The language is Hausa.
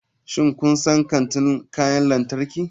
Shin kun san kantin kayan lantarki?